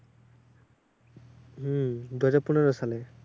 হম দুহাজার পনেরো সালে।